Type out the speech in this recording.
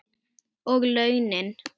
Og launin?